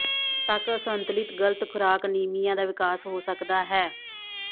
ਤੱਕ ਅਸੰਤੁਲਿਤ ਗ਼ਲਤ ਖੁਰਾਕ ਅਨੀਮੀਆ ਦਾ ਵਿਕਾਸ ਹੋ ਸਕਦਾ ਹੈ